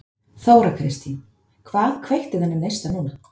Þóra Kristín: Hvað kveikti þennan neista núna?